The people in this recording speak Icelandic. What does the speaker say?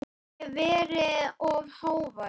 Hef verið of hávær.